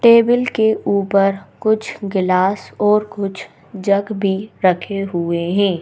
Table के ऊपर कुछ ग्लास और कुछ जग भी रखे हुए हैं।